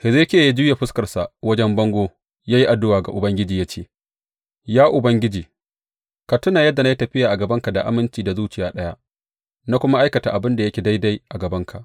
Hezekiya ya juya fuskarsa wajen bango ya yi addu’a ga Ubangiji ya ce, Ya Ubangiji, ka tuna yadda na yi tafiya a gabanka da aminci da zuciya ɗaya, na kuma aikata abin da yake daidai a gabanka.